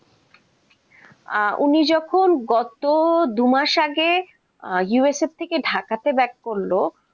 আহ উনি যখন গত দুমাস আগে USA থেকে ঢাকাতে back করল